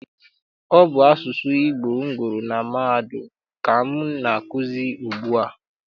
Ọ bụ asụsụ Igbo m gụrụ na mahadum ka m na-akụzi ugbu a.